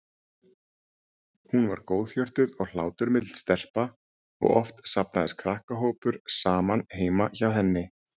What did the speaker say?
Hún var góðhjörtuð og hláturmild stelpa og oft safnaðist krakkahópur saman heima hjá henni.